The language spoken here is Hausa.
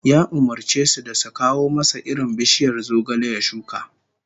Ya umurce su da su kawo masa irin bishiyar zogale ya shuka